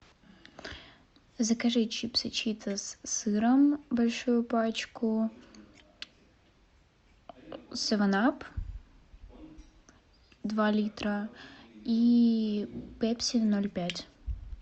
закажи чипсы читос с сыром большую пачку севен ап два литра и пепси ноль пять